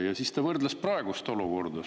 Ja siis ta võrdles praegust olukorda.